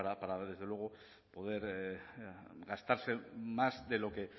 para poder gastarse más